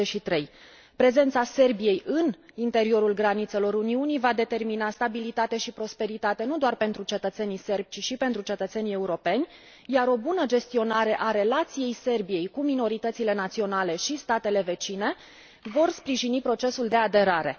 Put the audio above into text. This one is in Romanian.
23. Prezența Serbiei în interiorul granițelor Uniunii va determina stabilitate și prosperitate nu doar pentru cetățenii sârbi, ci și pentru cetățenii europeni, iar o bună gestionare a relației Serbiei cu minoritățile naționale și statele vecine va sprijini procesul de aderare.